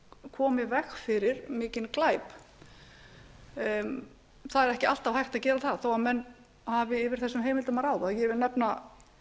í veg fyrir mikinn glæp það er ekki alltaf hægt að gera það þó menn hafi yfir þessum heimildum að ráða ég vil nefna